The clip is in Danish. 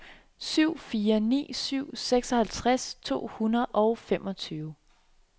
syv fire ni syv seksoghalvtreds to hundrede og femogtyve